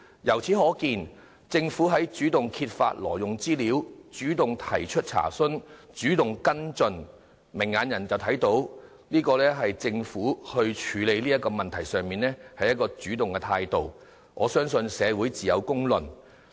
由此可見，挪用資料事件是由政府主動揭發、查詢及跟進，政府採取主動處理問題的態度有目共睹，我相信社會自有公論。